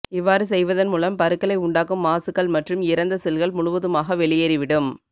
இவ்வாறு செய்வதன் மூலம் பருக்களை உண்டாக்கும் மாசுக்கள் மற்றும் இறந்த செல்கள் முழுவதுமாக வெளியேறிவிடும்